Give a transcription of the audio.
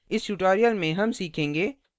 इस tutorial में हम सीखेंगे